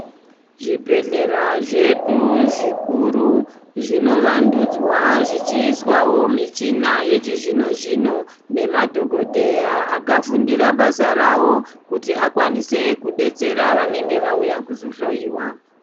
Zvibhedhlera zvedu zvikuru zvinovandudzwa zvichiiswawo michina yechizvino-zvino nemadhogodheya akafundira basa ravo kuti akwanise kudetsera vanenge vauya kuzohloyiwa.